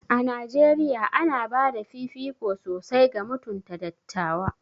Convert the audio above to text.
A Najeriya, ana ba da fifiko sosai ga mutunta dattawa.